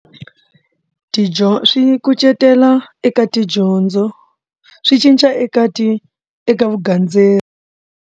Tidyondzo swi kucetelo eka tidyondzo swi cinca eka ti eka vugandzeri.